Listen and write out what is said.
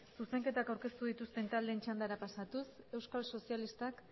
zuzenketak aurkeztu dituzten taldeen txandara pasatuz euskal sozialistak